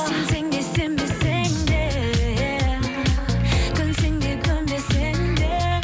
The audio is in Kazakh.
сенсең де сенбесең де көнсең де көнбесең де